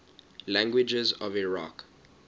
languages of iraq